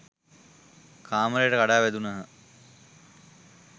කාමරයට කඩා වැදුණහ